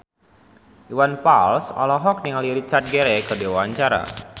Iwan Fals olohok ningali Richard Gere keur diwawancara